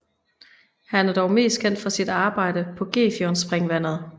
Han er dog mest kendt for sit arbejde på Gefionspringvandet